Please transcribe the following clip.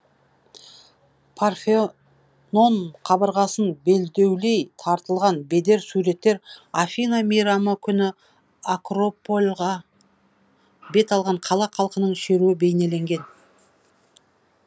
парфенон қабырғасын белдеулей тартылған бедер суреттер афина мейрамы күні акропольға бет алған қала халқының шеруі бейнеленген